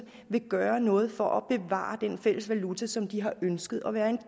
vil gøre noget for at bevare den fælles valuta som de har ønsket at være en